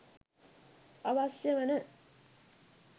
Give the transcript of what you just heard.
අවශ්‍ය වන